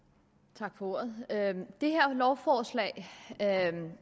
tak for ordet det her lovforslag handler